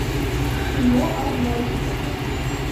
кино арнольд